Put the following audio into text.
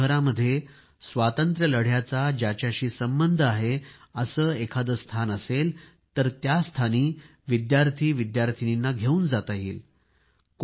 आपल्या शहरामध्ये स्वातंत्र्य लढ्याचा ज्याच्याशी संबंध आहे असे कोणते स्थान असेल तर त्या स्थानी विद्यार्थीविद्यार्थिनींना घेवून जाता येईल